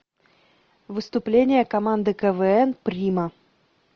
выступления команды квн прима